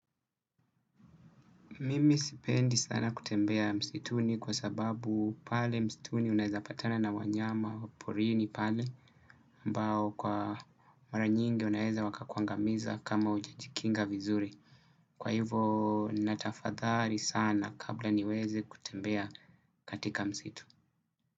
Mimi sipendi sana kutembea msituni kwa sababu pale msituni unaeza patana na wanyama porini pale ambao kwa maranyingi unaeza waka kuangamiza kama huja jikinga vizuri kwa hivo natahadhari sana kabla niweze kutembea katika msitu.